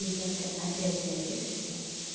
и завтра опять порежишься